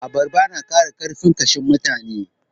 Abarba na ƙara ƙarfin ƙashin mutane.